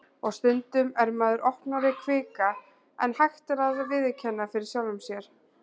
Og stundum er maður opnari kvika en hægt er að viðurkenna fyrir sjálfum sér.